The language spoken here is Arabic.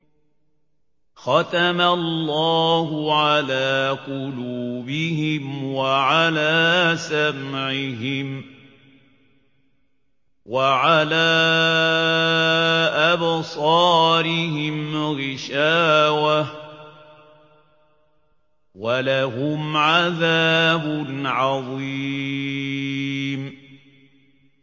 خَتَمَ اللَّهُ عَلَىٰ قُلُوبِهِمْ وَعَلَىٰ سَمْعِهِمْ ۖ وَعَلَىٰ أَبْصَارِهِمْ غِشَاوَةٌ ۖ وَلَهُمْ عَذَابٌ عَظِيمٌ